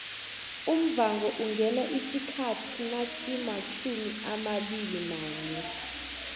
umvhango ungena isikhathi nasimatjhumiabilinanye